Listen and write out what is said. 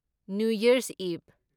new Year's ꯏꯚ